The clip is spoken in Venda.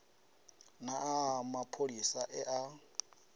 na aḽa mapholisa e a